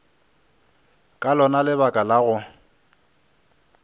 ka lona lebaka la go